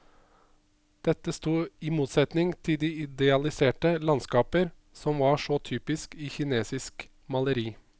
Dette stod i motsetning til de idealiserte landskaper, som var så typisk i kinesisk maleri.